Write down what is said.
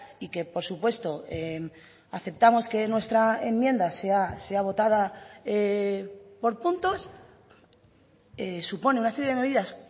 y que por supuesto aceptamos que nuestra enmienda sea votada por puntos supone una serie de medidas